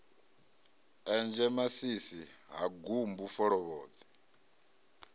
enzhe masisi ha gumbu folovhoḓwe